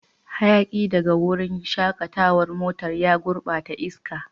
Hayaki daga wurin shakatawar motar ya gurbata iska.